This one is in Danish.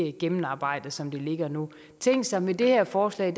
ikke gennemarbejdet som det ligger nu tænk sig med det her forslag